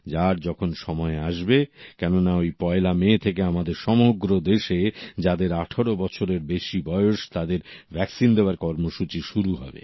যার যখন সময় আসবে কেননা পয়লা মে থেকে আমাদের সমগ্র দেশে যাদের ১৮ বছরের বেশি বয়স তাদের ভ্যাকসিন দেওয়ার কর্মসূচি শুরু হবে